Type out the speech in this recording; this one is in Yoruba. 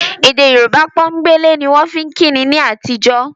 Èdè Yorùbá pọ́nbélé ni wọ́n fi ń kíni ní àtijọ́